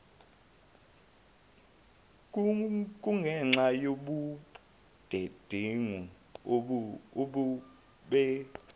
kungenxa yobudedengu obube